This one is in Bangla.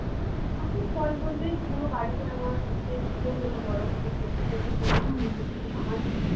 এখন ফল বলতে পুরো বাড়িতে আমার হচ্ছে পুজো হলো বড়ো করে যজ্ঞ-টজ্ঞ করে আমি সেখানে আমার